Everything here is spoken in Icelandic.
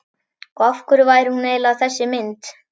Og af hverju væri hún eiginlega þessi mynd?